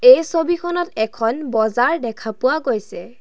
এই ছবিখনত এখন বজাৰ দেখা পোৱা গৈছে।